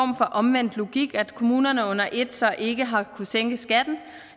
omvendt logik at kommunerne under et så ikke har kunnet sænke skatten